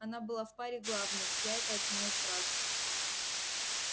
она была в паре главной я это оценил сразу